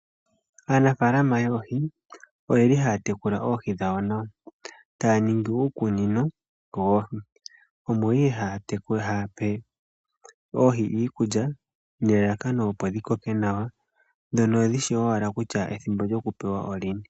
Aanafalama yoohi oyeli haatekula oohi dhawo nawa. Taaningi uukunino woohi omo ihe haape oohi iikulya, nelalakano opo dhikoke nawa dhono dhishi owala kutya ethimbo lyokupewa olini.